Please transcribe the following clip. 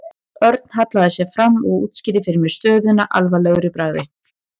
Örn hallaði sér fram og útskýrði fyrir mér stöðuna alvarlegur í bragði.